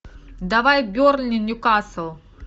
давай бернли ньюкасл